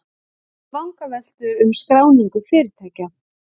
Vangaveltur um skráningu fyrirtækja